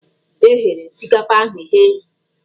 E ghere osikapa ahụ eghe.